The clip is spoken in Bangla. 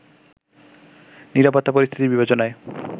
নিরাপত্তা পরিস্থিতির বিবেচনায়